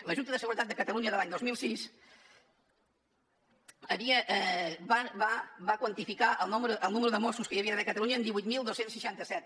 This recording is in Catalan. la junta de seguretat de catalunya de l’any dos mil sis va quantificar el número de mossos que hi havia d’haver a catalunya en divuit mil dos cents i seixanta set